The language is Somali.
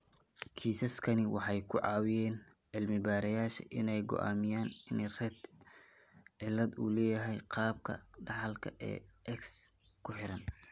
Kiisaskani waxay ka caawiyeen cilmi-baarayaasha inay go'aamiyaan in Rett cilad uu leeyahay qaabka dhaxalka ee X ku xiran.